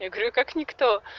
я говорю как никто